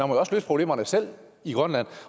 må jo også løse problemerne selv i grønland